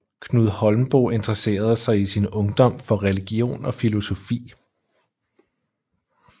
Knud Holmboe interessede sig i sin ungdom for religion og filosofi